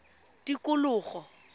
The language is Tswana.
tikologo